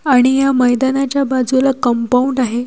आणि या मैदानाच्या बाजूला कंपाउंड आहे.